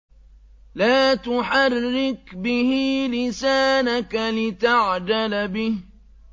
لَا تُحَرِّكْ بِهِ لِسَانَكَ لِتَعْجَلَ بِهِ